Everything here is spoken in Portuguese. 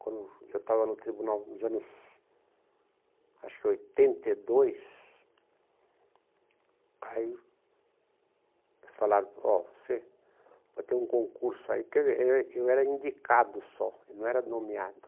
Quando eu estava no tribunal, nos anos, acho que oitenta e dois, aí falaram, ó, você vai ter um concurso aí, porque era era eu era indicado só, eu não era nomeado.